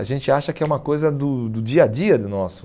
A gente acha que é uma coisa do do dia a dia do nosso.